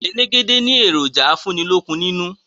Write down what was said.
Elégédé ni èròjà afúnílókun nínú